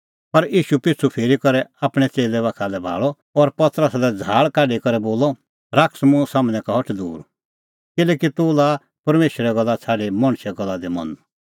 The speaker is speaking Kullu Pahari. पर ईशू पिछ़ू फिरी करै आपणैं च़ेल्लै बाखा भाल़अ और पतरसा लै झ़ाहल़ काढी करै बोलअ शैतान मुंह सम्हनै का हट दूर किल्हैकि तूह लाआ परमेशरे गल्ला छ़ाडी मणछे गल्ला दी मन